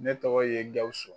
Ne tɔgɔ ye Gawusu